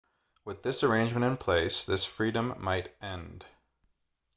with this arrangement in place this freedom might end